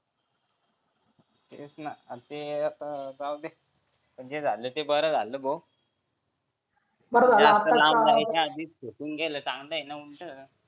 तेच ना तेच आता जाऊ दे जे झालं ते बर झालं भो होऊन गेलं चांगलंय ना उलट